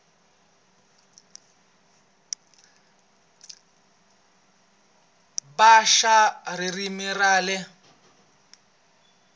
va xa ririmi ra le